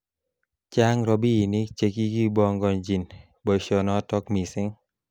Chang robinik chekikibongonji boishonotok missing.